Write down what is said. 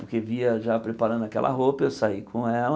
Porque via já preparando aquela roupa, eu saí com ela.